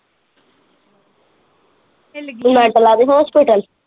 ਹਿਲ ਗਈ ਮੈਂਟਲਾਂ ਦੇ ਹੌਸਪੀਟਲ।